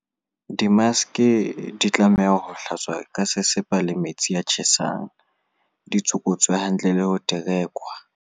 Dimaske di tlameha ho hlatswa ka sesepa le metsi a tjhesang, di tsokotswe hantle le ho terekwa.